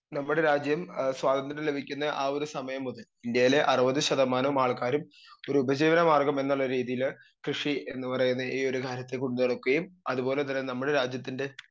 speaker 2 നമ്മുടെ രാജ്യം ഏ സ്വാതന്ത്ര്യം ലഭിക്കുന്ന ആ ഒരു സമയം മുതൽ ഇന്ത്യയേലെ അറുവത് ശതമാനം ആൾക്കാരും ഒരു ഉപജീവന മാർഘമെന്നുള്ള രീതീല് കൃഷി എന്നുപറയുന്ന ഈ ഒരു കാര്യത്തെ കൊണ്ട് നടക്കുകയും അത് പോലെ തന്നെ നമ്മുടെ രാജ്യത്തിൻ്റെ